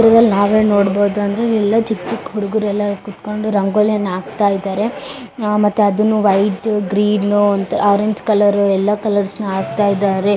ಚಿತ್ರದಲ್ಲಿ ನಾವು ಏನ್ ನೋಡಬಹುದು ಅಂದ್ರೆ ಎಲ್ಲಾ ಚಿಕ್ಕಚಿಕ್ಕ ಹುಡುಗ್ರು ಎಲ್ಲಾ ಕೂತಕೊಂಡು ರಂಗೋಲಿಯನ್ನ ಹಾಕತ್ತಾ ಇದಾರೆ ಮತ್ತೆ ಅದನ್ನು ವೈಟ್ . ಗ್ರೀನ್ ಅಂತ ಆರೆಂಜ್ ಕಲರ್ ಯಲ್ಲೋ ಕಲರ್ ನ ಹಾಕತ್ತಾ ಇದ್ದಾರೆ.